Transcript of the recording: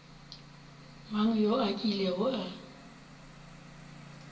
mang yo a kilego a